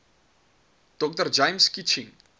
dr james kitching